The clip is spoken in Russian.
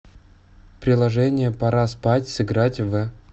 приложение пора спать сыграть в